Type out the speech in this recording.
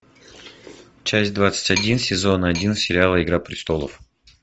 часть двадцать один сезон один сериал игра престолов